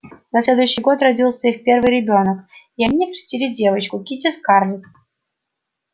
на следующий год родился их первый ребёнок и они окрестили девочку кити-скарлетт